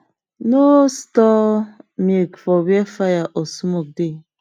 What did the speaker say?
no store milk for where fire or smoke dey